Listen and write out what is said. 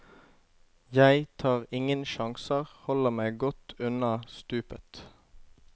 Jeg tar ingen sjanser, holder meg godt unna stupet.